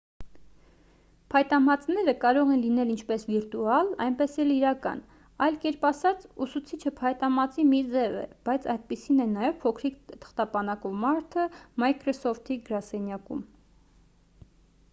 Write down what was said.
փայտամածները կարող են լինել ինչպես վիրտուալ այնպես էլ իրական այլ կերպ ասած՝ ուսուցիչը փայտամածի մի ձև է բայց այդպիսին է նաև փոքրիկ թղթապանակով մարդը microsoft-ի գրասենյակում։